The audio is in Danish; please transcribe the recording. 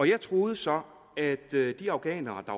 jeg troede så at de afghanere der